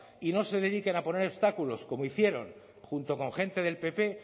y no se dediquen a poner obstáculos como hicieron junto con gente del pp